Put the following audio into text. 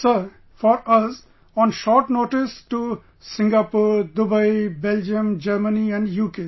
Sir, for us on short notice to Singapore, Dubai, Belgium, Germany and UK